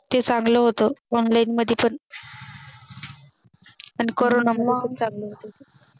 ते चांगलं होत Online मध्ये पण पण Corona मध्ये पण चांगलं होत ते